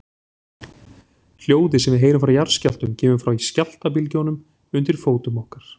Hljóðið sem við heyrum frá jarðskjálftum kemur frá skjálftabylgjunum undir fótum okkar.